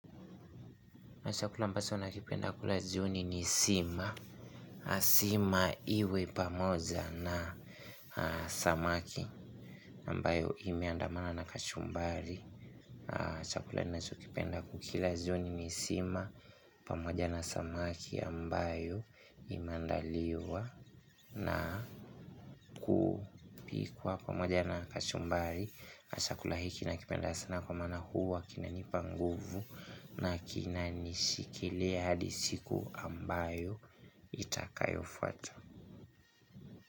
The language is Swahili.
Na chakula ambacho nakipenda kula jioni ni sima. Sima iwe pamoja na samaki ambayo imeandamana na kachumbari. Chakula ninachokipenda kukila jioni ni sima. Pamoja na samaki ambayo imeandaliwa na kupikwa pamoja na kachumbari. Chakula hiki nakipenda sana kwa maana huwa kinanipa nguvu. Na kinanishikilia hadi siku ambayo itakayofwata.